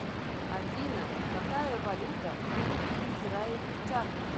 афина какая валюта у израильтян